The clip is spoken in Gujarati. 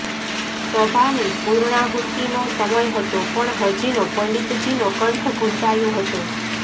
સભાની પુર્ણાહૂતિનો સમય હતો પણ હજીનો પંડિતજીનો કંઠ ઘુંટાયો હતો